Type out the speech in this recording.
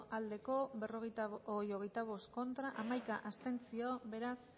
aldekoa hogeita bost contra hamaika abstentzio beraz